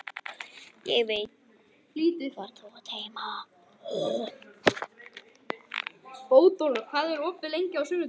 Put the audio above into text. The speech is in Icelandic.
Ég beygi mig ekki þótt söngurinn hljómi